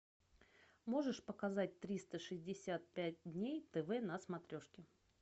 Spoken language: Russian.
можешь показать триста шестьдесят пять дней тв на смотрешке